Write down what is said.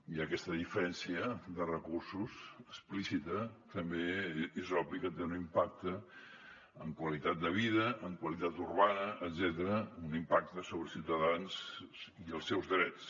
i aquesta diferència de recursos explícita també és obvi que té un impacte en qualitat de vida en qualitat urbana etcètera un impacte sobre els ciutadans i els seus drets